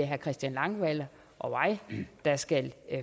herre christian langballe og jeg skal